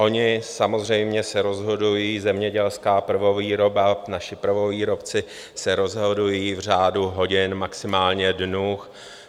Oni samozřejmě se rozhodují, zemědělská prvovýroba, naši prvovýrobci se rozhodují v řádu hodin, maximálně dnů.